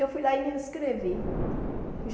Eu fui lá e me inscrevi.